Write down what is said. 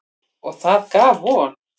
Og það gaf von.